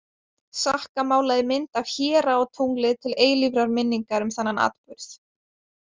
Sakka málaði mynd af héra á tunglið til eilífrar minningar um þennan atburð.